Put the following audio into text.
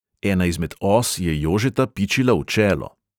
Ena izmed os je jožeta pičila v čelo.